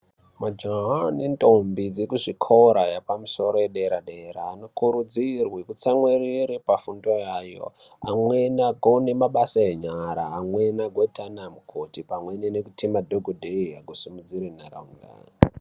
Majaha nentombi ekuzvikora zvekumusoro yedera dera anokurudzirwa kutsamwirire pafundo yayo amweni aozogone mabasa enyara amweni azoite ana mukoti, amweni nekuite madhokodheya kusimudzire ntaraunda.